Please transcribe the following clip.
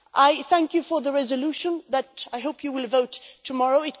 I thank you for the resolution that I hope you will vote through tomorrow.